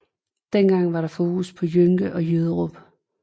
Dengang var der fokus på Jønke og Jyderup